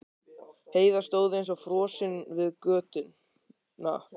Heiða stóð eins og frosin við götuna.